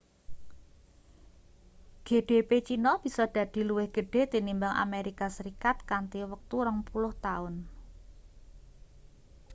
gdp china bisa dadi luwih gedhe tinimbang amerika serikat kanthi wektu rong puluh taun